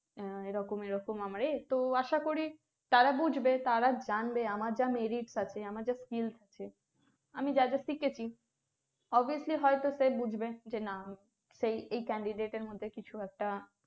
আহ এরকম এরকম আমার এই, তো আশা করি তারা বুঝবে তারা জানবে আমার যা merit তাতে আমাদের skills আছে আমি যা যা শিখেছি obviously হয়তো সে বুঝবে যে না সেই এই candidate এর মধ্যে কিছু একটা